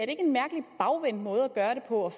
en mærkelig bagvendt måde at gøre det på